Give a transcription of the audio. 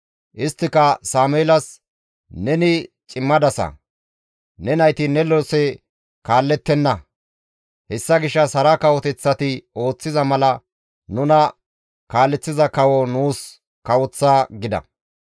Isttika Sameelas, «Neni cimadasa; ne nayti ne lose kaallettenna; hessa gishshas hara kawoteththati ooththiza mala nuna kaaleththiza kawo nuus kawoththa» gida.